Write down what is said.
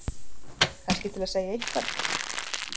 Kannski til að segja eitthvað.